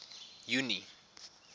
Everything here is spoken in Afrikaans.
junie